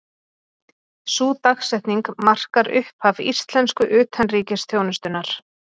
Sú dagsetning markar upphaf íslensku utanríkisþjónustunnar.